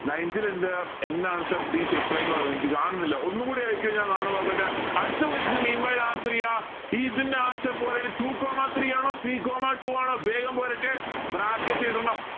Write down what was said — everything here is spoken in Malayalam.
ninth ൽ ഇണ്ട് എന്താണ് sir please reply എന്ന് പറഞ്ഞ് എനിക്ക് കാണുന്നില്ല ഒന്നൂടെ അയക്കുഓ ഞാൻ കാണു നോക്കട്ടെ അടുത്ത question meanwhile answer ചെയ ഇതിന്റെ answer two comma three ആണോ three comma two ആണോ വേഗം പോരട്ടെ bracket ഇടണം